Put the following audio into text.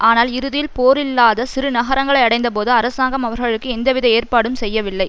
ஆனால் இறுதியில் போர் இல்லாத சிறு நகரங்களை அடைந்தபோது அரசாங்கம் அவர்களுக்கு எந்தவித ஏற்பாடும் செய்யவில்லை